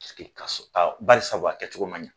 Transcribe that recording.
Paseke ka barisabu a kɛcogo man ɲɛ.